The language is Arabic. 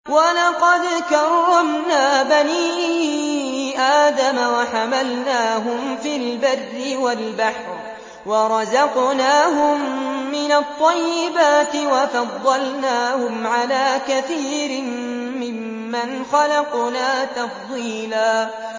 ۞ وَلَقَدْ كَرَّمْنَا بَنِي آدَمَ وَحَمَلْنَاهُمْ فِي الْبَرِّ وَالْبَحْرِ وَرَزَقْنَاهُم مِّنَ الطَّيِّبَاتِ وَفَضَّلْنَاهُمْ عَلَىٰ كَثِيرٍ مِّمَّنْ خَلَقْنَا تَفْضِيلًا